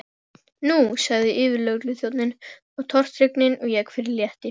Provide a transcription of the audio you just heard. Nú sagði yfirlögregluþjónninn og tortryggnin vék fyrir létti.